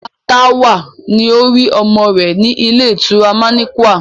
Ìyá Táwà ló rí ọmọ rẹ̀ ní ilé ìtura manequal